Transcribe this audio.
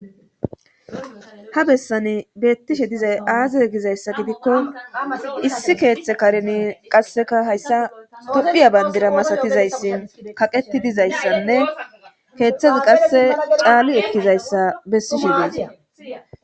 ha bessani beettishe dizay aaze gizayssa gidikko issi keeththe kareni qasseka hayssa tophiya bandira masatizayssi kaqeti dizayssanne keeththezi qasse caali ekkizayssa bessi shinmasa